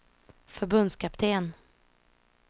förbundskapten